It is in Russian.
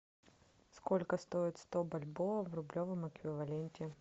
сколько стоит сто бальбоа в рублевом эквиваленте